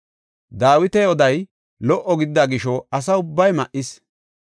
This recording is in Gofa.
Dawita oday lo77o gidida gisho asa ubbay ma7is.